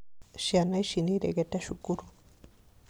Ciana ici nĩiregete cukuru